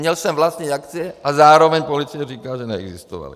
Měl jsem vlastnit akcie a zároveň policie říká, že neexistovaly.